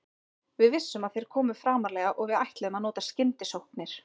Við vissum að þeir komu framarlega og við ætluðum að nota skyndisóknir.